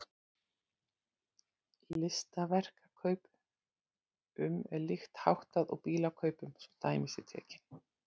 Listaverkakaup- um er líkt háttað og bílakaupum svo dæmi séu tekin.